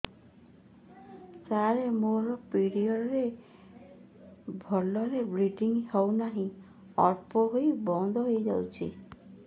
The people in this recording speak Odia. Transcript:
ସାର ମୋର ପିରିଅଡ଼ ରେ ଭଲରେ ବ୍ଲିଡ଼ିଙ୍ଗ ହଉନାହିଁ ଅଳ୍ପ ହୋଇ ବନ୍ଦ ହୋଇଯାଉଛି